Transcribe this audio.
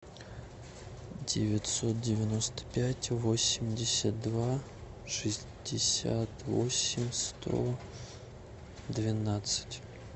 девятьсот девяносто пять восемьдесят два шестьдесят восемь сто двенадцать